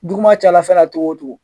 Duguma calafɛla cogo o cogo